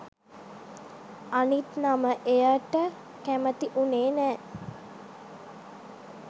අනිත් නම එයට කැමති වුනේ නෑ